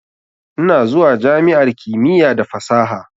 Ina zuwa jami'ar kimiyya da fasaha.